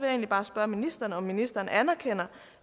egentlig bare spørge ministeren om ministeren anerkender